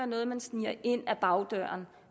noget man sniger ind ad bagdøren